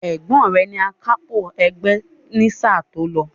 Ẹ̀gbọ́n rẹ ni AKÁPÒ ẹgbẹ́ ní sáà tí ó lọ